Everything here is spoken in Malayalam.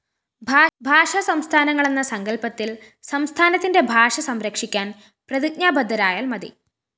ഭാഷാ സംസ്ഥാനങ്ങളെന്ന സങ്കല്‍പ്പത്തില്‍ സംസ്ഥാനത്തിന്റെ ഭാഷ സംരക്ഷിക്കാന്‍ പ്രതിജ്ഞാബദ്ധരായാല്‍ മതി